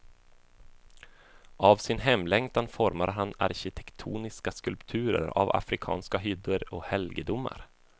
Av sin hemlängtan formar han arkitektoniska skulpturer av afrikanska hyddor och helgedomar.